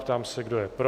Ptám se, kdo je pro?